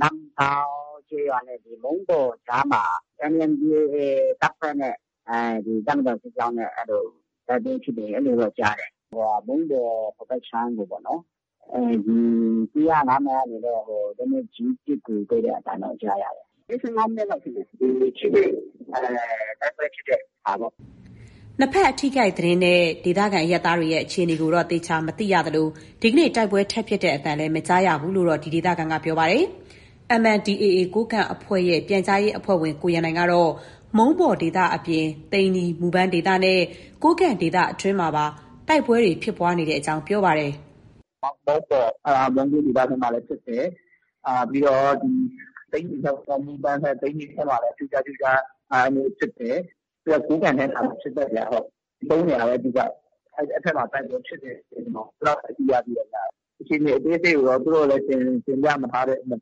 နမ့်တောင်းကျေးရွာနဲ့ မုံးပေါ်ကြားမှာ MNDAA တပ်ဖွဲ့နဲ့ တပ်မတော်စစ်ကြောင်းနဲ့ အဲလို တိုက်ပွဲဖြစ်တယ်။ အဲလိုတော့ ကြားတယ်။ မုံးပေါ် ဟိုဘက်အခြမ်းတွေပေါ့နော်။ ၁၀၅ မိုင်ကနေ လက်နက်ကြီး ပစ်ကူပေးတဲ့ အသံတော့ ကြားရတယ်။ ၄၅ မိနစ်လောက် ထင်တယ်။ ထိတွေ့တိုက်ပွဲ ဖြစ်တဲ့ဟာပေါ့။” နှစ်ဘက်အထိအခိုက် သတင်းနဲ့ ဒေသခံ အရပ်သားတွေရဲ့ အခြေအနေကိုတော့ သေချာ မသိရသလို၊ ဒီကနေ့ တိုက်ပွဲ ထပ်ဖြစ်သံ မကြားရဘူး လို့လည်း ဒီဒေသခံက ပြောပါတယ်။ MNDAA ကိုးကန့်အဖွဲ့ရဲ့ ပြန်ကြားရေးအဖွဲ့ဝင် ကိုရန်နိုင်ကတော့ မုံးပေါ်ဒေသအပြင် သိန္နီ ဒေသနဲ့ ကိုးကန့်ဒေသအတွင်းမှာပါ တိုက်ပွဲဖြစ်ပွားတာရှိတဲ့အကြောင်း ပြောပါတယ်။ “ မုံးပေါ် အဲဒီ မုံးကိုး ဒေသဘက်မှာလည်း ဖြစ်တယ်။ ပြီးတော့ သိန္နီဘက် မူပန်ဘက် မှာလည်း ကြိုးကြားကြိုးကြား ဖြစ်တယ်။ ပြီးတော့ ကိုးကန့်ထဲမှာလည်း ဖြစ်တယ်ဗျ။ ၃နေရာပဲ အဓိက။ အဲဒီဘက် တိုက်ပွဲဖြစ်တယ် အဲလောက်ပဲ သိရသေးတယ်ဗျ။ အခြေအနေ အသေးစိတ်ကိုတော့ သူတို့လည်း တင်ပြမထားတဲ့အတွက်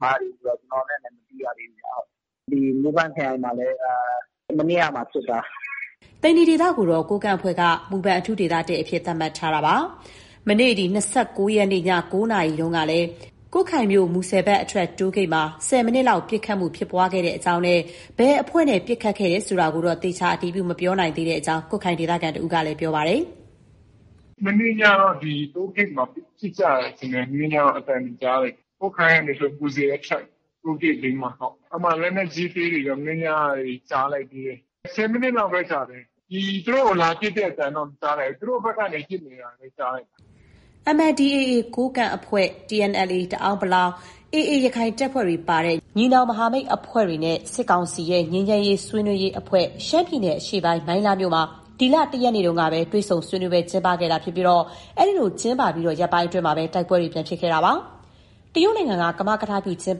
ကျနော်တို့လည်း မသိရသေးဘူးဗျ။ မူဘန့်ခရိုင်မှာလည်း မနေ့ကမှ ဖြစ်တာ။ ” သိန္နီဒေသကိုတော့ ကိုးကန့်အဖွဲ့က မူပန် အထူးဒေသ ၁ အဖြစ် သတ်မှတ်ထားတာပါ။ မနေ့ ၂၉ ရက်နေ့ ည ၉နာရီအချိန်မှာ ကွတ်ခိုင်မြို့ မူဆယ်ဘက် အထွက် တိုးဂိတ်မှာ ၁၀ မိနစ်လောက် ပစ်ခတ်မှု ဖြစ်ပွားခဲ့ကြောင်းနဲ့ ဘယ်အဖွဲ့နဲ့ ပစ်ခတ်တယ်ဆိုတာတော့ သေချာ အတည်ပြု မပြောနိုင်တဲ့အကြောင်း ကွတ်ခိုင်ဒေသခံတစ်ဦးကလည်း ပြောပါတယ်။ “ မနေ့ညကတော့ ဒီ တိုးဂိတ်မှာ ပစ်ကြတယ်ထင်တယ်။ အသံတွေကြားတယ်။ ကွတ်ခိုင်ကနေဆို မူဆယ်အထွက် တိုးဂိတ်ဘေးမှာ။ အဲဒီမှာ လက်နက်ကြီး၊ လက်နက်အသေးတွေရော မနေ့ညက ကြားလိုက်သေးတယ်။ ၁၀ မိနစ်လောက်ပဲ ကြာတယ်။ သူတို့ကို လာပစ်တဲ့အသံတော့ မကြားလိုက်ဘူး။ သူတို့ဘက်ကနေ ပစ်နေတာပဲ ကြားလိုက်တာ။ ” MNDAA ကိုးကန့်အဖွဲ့၊ TNLA တအန်း ၊ AA ရခိုင်တပ်ဖွဲ့တွေ ပါတဲ့ ညီနောင်မဟာမိတ်အဖွဲ့တွေနဲ့ စစ်ကောင်စီရဲ့ ငြိမ်းချမ်းရေး ဆွေးနွေးရေးအဖွဲ့ ရှမ်းပြည်နယ်အရှေ့ပိုင်း မိုင်းလားမြို့မှာ ဒီလ ၁ ရက်နေ့ကပဲ တွေ့ဆုံဆွေးနွေးပွဲ ကျင်းပခဲ့တာဖြစ်ပြီး အဲ့ဒီလို ကျင်းပပြီး ရက်ပိုင်းအတွင်းမှာပဲ တိုက်ပွဲတွေ ပြန်ဖြစ်ခဲ့တာပါ။ တရုတ်နိုင်ငံက ကမကထပြု ကျင်း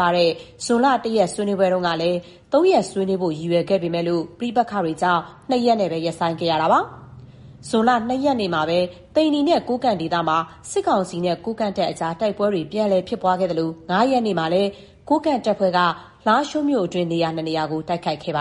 ပခဲ့တဲ့ ဇွန်လ ၁ ရက် ဆွေးနွေးပွဲဟာလည်း ၃ ရက် ဆွေးနွေးဖို့ ရည်ရွယ်ခဲ့ပေမဲ့ ပဋိပက္ခတွေကြောင့် ၂ ရက်နဲ့ ရပ်ဆိုင်းခဲ့ရတာပါ။ ဇွန်လ ၂ ရက်နေ့မှာပဲ သိန္နီနဲ့ ကိုးကန့်ဒေသမှာ စစ်ကောင်စီနဲ့ ကိုးကန့်တပ်အကြား တိုက်ပွဲတွေ ပြန်လည် ဖြစ်ပွားခဲ့သလို၊ ၅ ရက်နေ့မှာလည်း ကိုးကန့်တပ်ဖွဲ့က လားရှိုးမြို့အတွင်း ၂ နေရာကို တိုက်ခိုက်ခဲ့ပါ